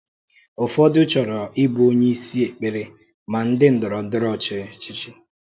Ụ́fọ̀dù chọ̀rọ̀ íbụ onye ìsì èkpèrè mà ndị ndọrọ̀ndọrọ̀ ọ́chịchì.